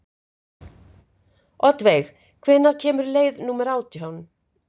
Oddveig, hvenær kemur leið númer átján?